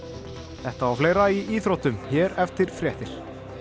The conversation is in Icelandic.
þetta og fleira í íþróttum hér eftir fréttir